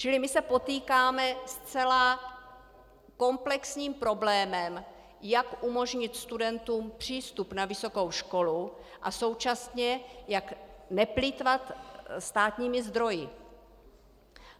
Čili my se potýkáme se zcela komplexním problémem, jak umožnit studentům přístup na vysokou školu a současně jak neplýtvat státními zdroji.